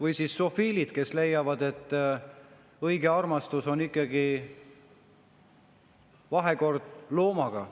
On ka zoofiilid, kes leiavad, et õige armastus on ikkagi vahekord loomaga.